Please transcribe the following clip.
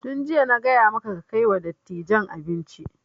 Tun jiya na gaya maka kai kai wa dattijan abinci!